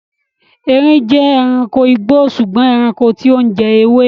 Eerin jẹ́ ẹranko igbó sùgbọ́n ẹranko tí ó ń jẹ ewé.